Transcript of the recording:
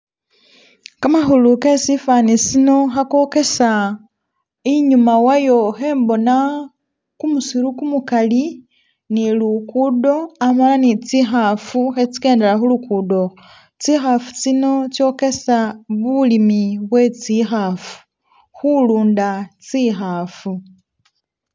Kamakhule ke sifani sino khakokesa, inyuma wayo ikhembona kumusiru kumukali ni lugudo amala ne tsi'khafu khe tsikendela khulugudo ukhwo, tsi khafu tsino khetsokesa bulimi bwe tsi'khafu , khulunda tsi'khafu